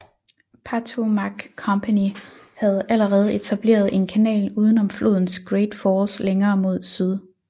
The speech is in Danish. Patowmac Company havde allerede etableret en kanal uden om flodens Great Falls længere mod syd